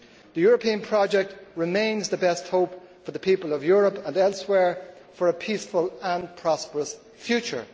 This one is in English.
The European project remains the best hope for the people of Europe and elsewhere for a peaceful and prosperous future.